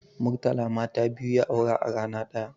Murtala mata biyu ya aura a rana ɗaya